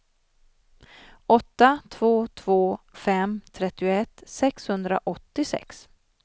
åtta två två fem trettioett sexhundraåttiosex